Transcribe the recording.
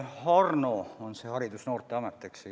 HARNO on selle Haridus- ja Noorteameti nimi.